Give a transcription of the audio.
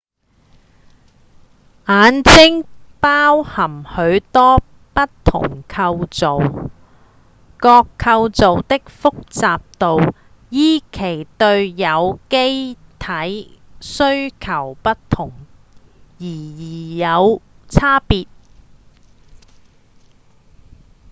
眼睛包含許多不同構造各構造的複雜度依其對有機體需求不同而有差別